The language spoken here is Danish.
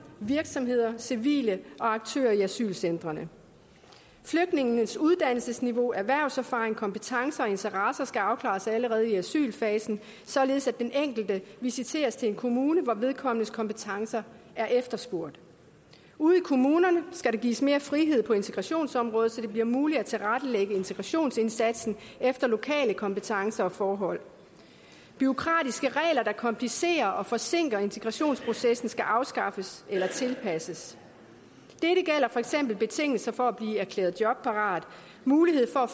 virksomheder civile og aktører i asylcentrene flygtningenes uddannelsesniveau erhvervserfaring kompetencer og interesser skal afklares allerede i asylfasen således at den enkelte visiteres til en kommune hvor vedkommendes kompetencer er efterspurgt ude i kommunerne skal der gives mere frihed på integrationsområdet så det bliver muligt at tilrettelægge integrationsindsatsen efter lokale kompetencer og forhold bureaukratiske regler der komplicerer og forsinker integrationsprocessen skal afskaffes eller tilpasses dette gælder for eksempel betingelser for at blive erklæret jobparat mulighed for